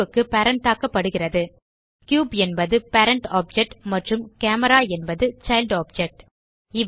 cube க்கு parent ஆக்கப்படுகிறது cube என்பது பேரண்ட் ஆப்ஜெக்ட் மற்றும் கேமரா என்பது சைல்ட் ஆப்ஜெக்ட்